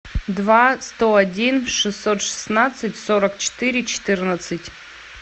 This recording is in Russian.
два сто один шестьсот шестнадцать сорок четыре четырнадцать